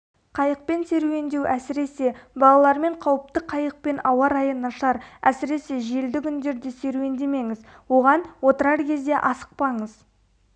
қайықпен серуендеу әсіресе балалармен қауіпті қайықпен ауа-райы нашар әсіресе желді күндерде серуендемеңіз оған отырар кезде асықпаңыз